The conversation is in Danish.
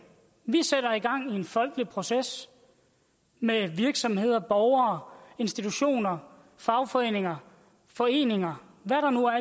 og en folkelig proces med virksomheder borgere institutioner fagforeninger foreninger